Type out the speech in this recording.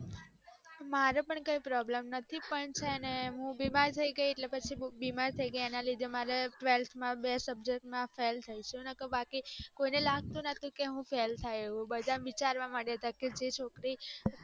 મારે પણ કઈ problem નથી પણ છેને હું બીમાર થય ગય એટલે પછી એના લીધે મારે ત્વેલ્થ માં બે subject માં fail છુ બાકી કોઈને લાગતું નોતું ક હું fail થાઉં ક અ છોકરી